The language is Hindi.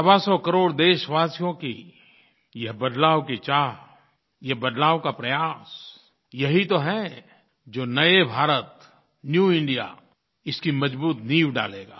सवासौ करोड़ देशवासियों की ये बदलाव की चाह ये बदलाव का प्रयास यही तो है जो नये भारत न्यू इंडिया इसकी मज़बूत नींव डालेगा